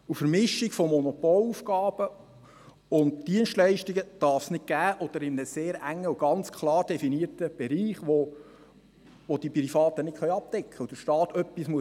Eine Vermischung von Monopolaufgaben und Dienstleistungen darf es nicht geben, oder nur in einem sehr engen oder ganz klar definierten Bereich, der die Privaten nicht abdecken können und wo der Staat handeln muss.